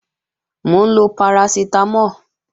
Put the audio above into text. Mò ń lọ parasitamo